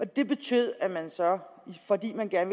det betød at man så fordi man gerne